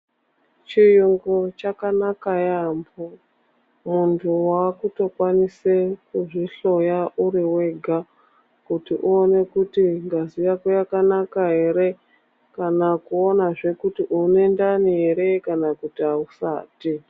Chiyungu chakanaka yaambo, muntu waakutokwanise kutozvihloya uri wega kuti uone kuti ngazi yako yakanaka ere kana kuona zve kuti une ndani ere kana kuti ausati.